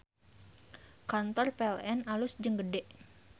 Kantor PLN alus jeung gede